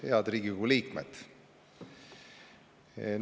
Head Riigikogu liikmed!